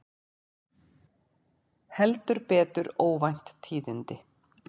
Heldur betur óvænt tíðindi